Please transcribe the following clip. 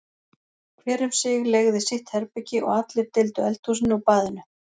Hver um sig leigði sitt herbergi og allir deildu eldhúsinu og baðinu.